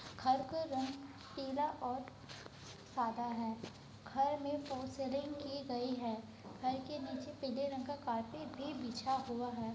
घर का रंग पीला और सादा है। घर में फॉल्स सीलिंग की गई है। घर के नीचे पीले रंग का कारपेट भी बिछा हुआ है।